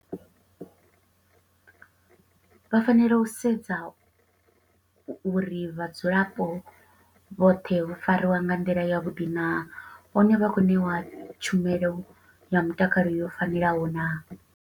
Vha fanela u sedza uri vhadzulapo vhoṱhe vho fariwa nga nḓila ya vhuḓi naa, hone vha khou ṋeiwa tshumelo ya mutakalo yo fanelaho naa.